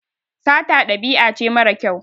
Sata ɗabi'a ce mara kyau.